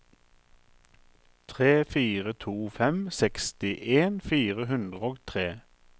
tre fire to fem sekstien fire hundre og tre